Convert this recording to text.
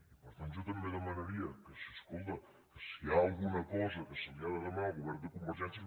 i per tant jo també demanaria que si escolta que si hi ha alguna cosa que se li ha de demanar al govern de convergència